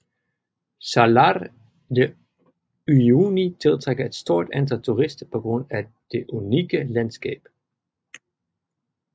Salar de Uyuni tiltrækker et stort antal turister på grund af det unikke landskab